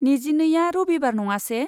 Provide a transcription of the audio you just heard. नेजिनैआ रबिबार नङासे?